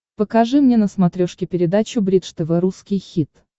покажи мне на смотрешке передачу бридж тв русский хит